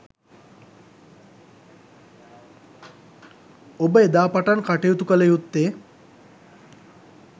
ඔබ එදා පටන් කටයුතු කළ යුත්තේ